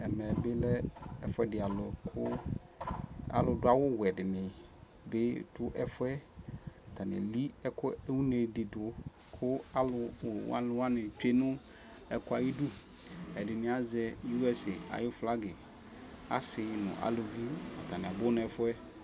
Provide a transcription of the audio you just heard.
Ɛmɛ bi lɛ ɛfuɛdi alʋ kʋ alʋ dʋ awʋ wɛ di ni bi dʋ ɛfuɛ Atani eli une di dʋ kʋ alʋwani tsue nʋ ɛkʋɛ ayidʋ Ɛdini azɛ uɛse ayu flagi Asi nʋ alʋvi, atani abʋ n'ɛfuɛ